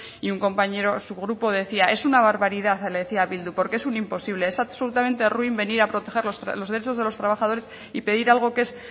y un compañero su grupo decía es una barbaridad le decía a bildu porque es un imposible es absolutamente ruin venir a proteger los derechos de los trabajadores y pedir algo que es